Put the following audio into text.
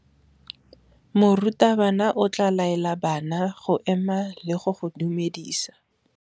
Morutabana o tla laela bana go ema le go go dumedisa.